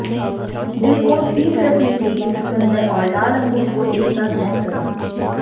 दिल को ठीक रखने के लिए चुकंदर और लाल अंगूर को एक साथ ब्लेंरड करें